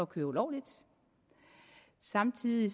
køre ulovligt samtidig